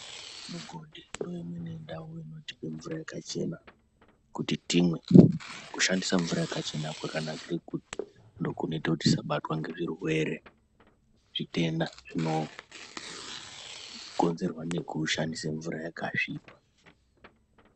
Mugodhi ndeimweni ndau inotipe mvura yakachena kuti timwe. Kushandise mvura yakachena kwakanakire kuti ndokunoite kuti tisabatwa ngezvirwere-zvitenda zvinokonzerwa nekushandise mvura yakasvipa.